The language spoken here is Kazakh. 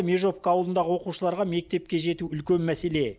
межовка ауылындағы оқушыларға мектепке жету үлкен мәселе